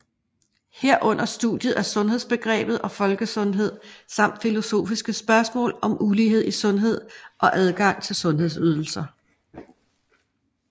Herunder studiet af sundhedsbegrebet og folkesundhed samt filosofiske spørgsmål om ulighed i sundhed og adgang til sundhedsydelser